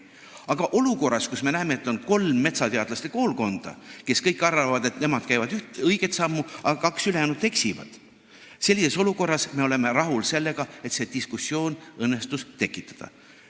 Aga olukorras, kus me näeme, et on kolm metsateadlaste koolkonda, kes kõik arvavad, et nemad käivad õiget sammu ja kaks ülejäänut eksivad, me oleme rahul sellega, et see diskussioon õnnestus tekitada.